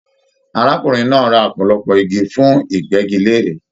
Arákùnrin náà rà ọpọlọpọ igi fún igbẹgilère